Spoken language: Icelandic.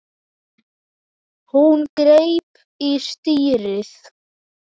Hún greip í stýrið.